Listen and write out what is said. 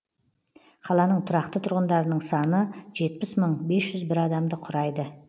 қаланың тұрақты тұрғындарының саны жетпіс мың бес жүз бір адамды құрайды